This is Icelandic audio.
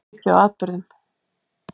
Ég byggi á atburðum.